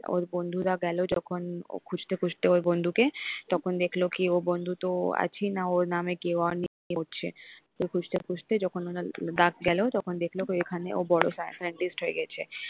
ওর বন্ধুরা গেল যখন ও খুঁজতে খুঁজতে ওর বন্ধুকে তখন দেখল কি ও বন্ধু তো আছেই না ওর নামে কেউ অন্য ঘুরছে তো খুঁজতে খুঁজতে যখন ডাক গেল তখন দেখল এখানে ও বড় sky scientist হয়ে গেছে।